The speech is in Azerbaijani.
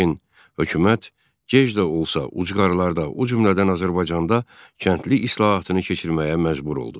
Lakin hökumət gec də olsa ucqarlarda, o cümlədən Azərbaycanda kəndli islahatını keçirməyə məcbur oldu.